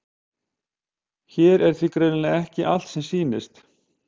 Hér er því greinilega ekki allt sem sýnist.